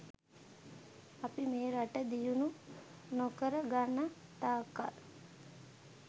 අපි මේ රට දියුණු නොකර ගන්න තාක් කල්